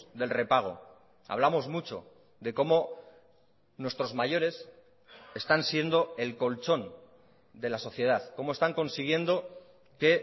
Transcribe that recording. del repago hablamos mucho de cómo nuestros mayores están siendo el colchón de la sociedad cómo están consiguiendo que